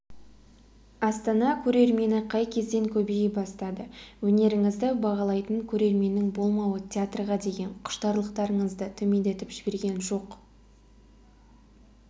астана көрермені қай кезден көбейе бастады өнеріңізді бағалайтын көрерменнің болмауы театрға деген құштарлықтарыңызды төмендетіп жіберген жоқ